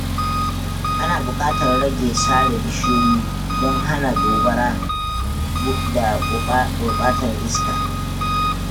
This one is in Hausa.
Ana buƙatar rage sare bishiyoyi don hana gobara da gurɓatar iska.